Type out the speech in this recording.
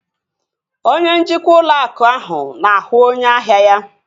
Onye njikwa ụlọ akụ ahụ na-ahụ onye ahia ya